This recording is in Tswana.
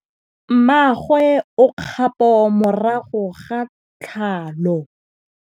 Mmagwe o kgapô morago ga tlhalô.